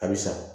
A bɛ sa